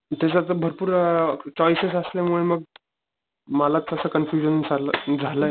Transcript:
त्याच्यात भरपूर अ चॉइसेस असल्या मूळ मग मला तस कन्फयुशन चाल झालाय